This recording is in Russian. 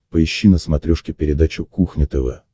поищи на смотрешке передачу кухня тв